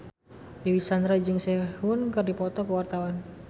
Dewi Sandra jeung Sehun keur dipoto ku wartawan